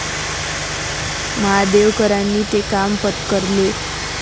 महादेवकरांनी ते काम पत्करले.